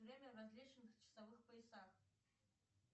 время в различных часовых поясах